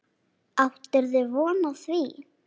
Áttirðu von á því?